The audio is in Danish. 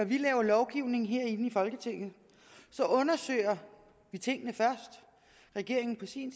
vi laver lovgivning herinde i folketinget så undersøger vi tingene først regeringen på sin